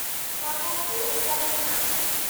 छा को ॿियो विकल्पु नाहे?